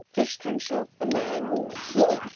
Fyrst hann sofnaði núna hér.